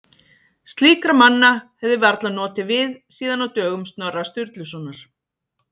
Slíkra manna hefði varla notið við síðan á dögum Snorra Sturlusonar.